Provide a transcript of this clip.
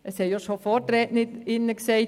Es haben schon Vorrednerinnen gesagt: